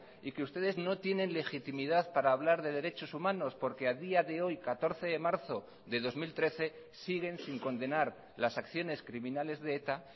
y que ustedes no tienen legitimidad para hablar de derechos humanos porque a día de hoy catorce de marzo de dos mil trece siguen sin condenar las acciones criminales de eta